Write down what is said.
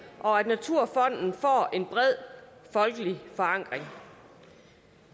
og at naturfonden får en bred folkelig forankring